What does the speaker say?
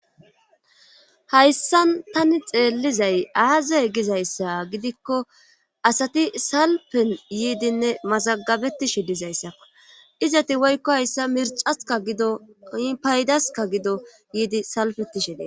Hayssan tani xeellizay aazay gizayssa gidikko asati salpen yiidinne masagabetishe dizayssakko izati woykko hayssa mircaska gido paydaska gido yiidi salpettishe dee.